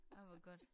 Ej hvor godt